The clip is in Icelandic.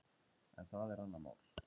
En það er annað mál.